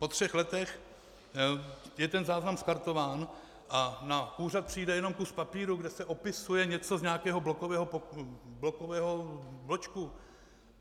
Po třech letech je ten záznam skartován a na úřad přijde jen kus papíru, kde se opisuje něco z nějakého blokového bločku.